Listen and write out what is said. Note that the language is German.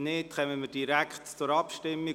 – Falls nicht, kommen wir direkt zur Abstimmung.